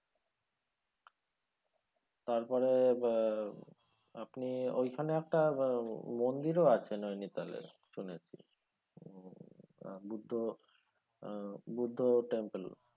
তারপরে আহ আপনি ওইখানে আপনার মন্দিরও আছে নৈনিতালের পেছনে আহ বুদ্ধ আহ বুদ্ধ tample